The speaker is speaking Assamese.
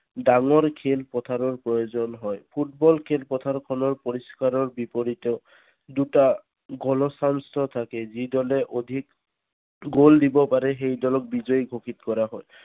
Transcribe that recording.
ডাঙৰ খেল পথাৰৰ প্ৰয়োজন হয় ফুটবল খেলি পথাৰ খনৰ পৰিস্কাৰৰ বিপৰীতে দুটা চাঞ্চ থাকে যি দলে অধিক গল দিব পাৰে সেই দলক বিজয় গোষিত কৰা হয়।